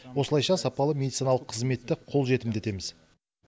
осылайша сапалы медициналық қызметті қолжетімді етеміз